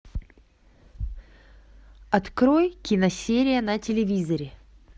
открой киносерия на телевизоре